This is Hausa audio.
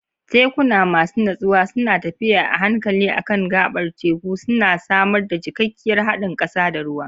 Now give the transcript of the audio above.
Tekuna masu natsuwa suna tafiya a hankali a kan gaɓar teku, suna samar da cikakkiyar haɗin ƙasa da ruwa.